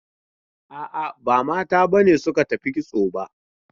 A'a, ba mata b ne suka tafi kitso ba.